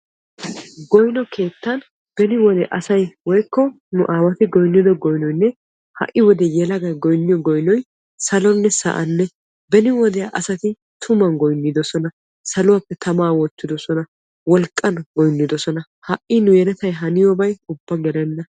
goyino keettan beni wode asay woyikko nu aawati goyinnido goynoyinne ha'i wode yelagay goyinniyo goynoy salonne sa'anne. beni wodiyan asati tuman goyinnidosona, saluwaappe tamaa wottidosona, wolqqan goyinnidosona. ha'i nu yeletay haniyoobay ubba gelenna.